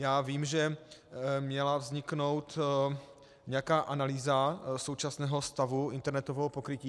Já vím, že měla vzniknout nějaká analýza současného stavu internetového pokrytí.